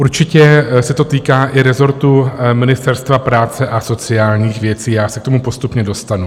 Určitě se to týká i rezortu Ministerstva práce a sociálních věcí, já se k tomu postupně dostanu.